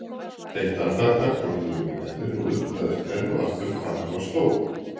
Eitt andartak horfði ég yfir garðinn og undraðist enn og aftur hvað hann var stór.